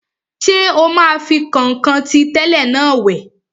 Ṣé o máa fi kọ̀nkọ̀n tí tẹ́lẹ̀ náà wẹ̀?